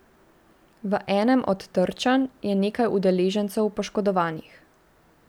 V enem od trčenj je nekaj udeležencev poškodovanih.